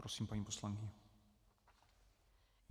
Prosím, paní poslankyně.